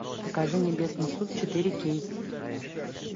покажи небесный суд четыре кей